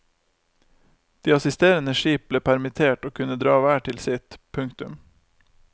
De assisterende skip ble permittert og kunne dra hver til sitt. punktum